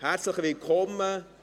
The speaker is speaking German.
Herzlich willkommen!